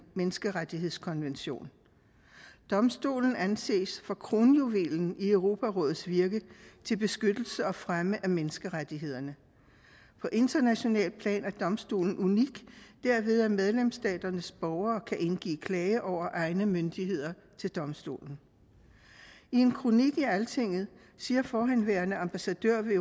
menneskerettighedskonvention domstolen anses for kronjuvelen i europarådets virke til beskyttelse og fremme af menneskerettighederne på internationalt plan er domstolen unik derved at medlemsstaternes borgere kan indgive klage over egne myndigheder til domstolen i en kronik i altinget siger forhenværende ambassadør ved